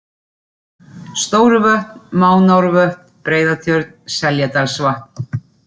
Stóruvötn, Mánárvötn, Breiðatjörn, Seljadalsvatn